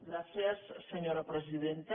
gràcies senyora presidenta